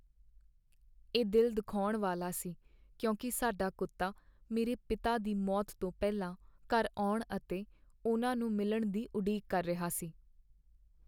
ਇਹ ਦਿਲ ਦੁਖਾਉਣ ਵਾਲਾ ਸੀ ਕਿਉਂਕਿ ਸਾਡਾ ਕੁੱਤਾ ਮੇਰੇ ਪਿਤਾ ਦੀ ਮੌਤ ਤੋਂ ਪਹਿਲਾਂ ਘਰ ਆਉਣ ਅਤੇ ਉਹਨਾਂ ਨੂੰ ਮਿਲਣ ਦੀ ਉਡੀਕ ਕਰ ਰਿਹਾ ਸੀ।